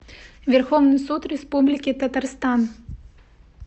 верховный суд республики татарстан